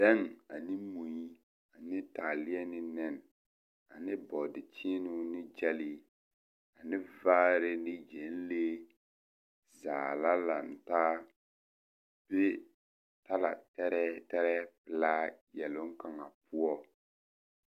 Bɛŋ ane mui ane taaleɛ ne nɛne ane bɔɔdekyeenoo ne gyɛlee ane vaare ne gyɛnlee zaa la lantaa be talatɛrɛɛ tɛrɛɛ laayɛloŋ kaŋa poɔ.